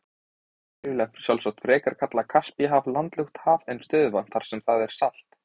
Einhverjir vilja sjálfsagt frekar kalla Kaspíahaf landlukt haf en stöðuvatn þar sem það er salt.